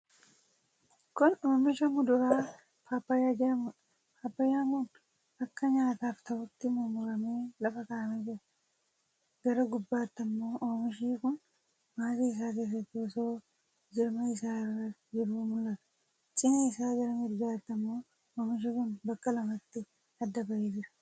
Kuni oomisha muduraa paappayyaa jedhamudha. Paappayyaan kun akka nyaataaf ta'utti mummuramee lafa kaa'amee jira. Gara gubbaatti ammoo oomishi kun maasii isaa keessatti osoo jirma isaa irra jiruu mul'ata. Cinaa isaa gara mirgaatti ammoo oomishi kun bakka lamatti adda bahee jira.